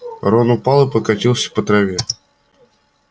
рон упал и покатился по траве